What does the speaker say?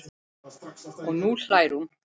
Og nú hlær hún.